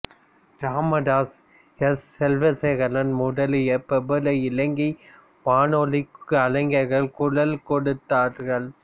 Ramdas S Selvasekaran முதலிய பிரபல இலங்கை வானொலிக் கலைஞர்கள் குரல் கொடுத்தார்கள்